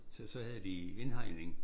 Så så havde de indhegning